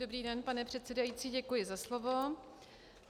Dobrý den, pane předsedající, děkuji za slovo.